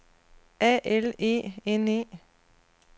A L E N E